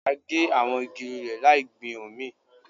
A gé àwọn igi lulẹ̀ láì gbin òmíì